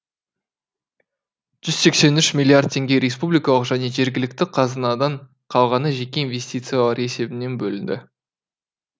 жүз сексен үш миллиард теңге республикалық және жергілікті қазынадан қалғаны жеке инвестициялар есебінен бөлінді